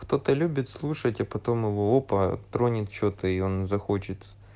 кто-то любит слушать а потом его опа тронет что-то и он захочет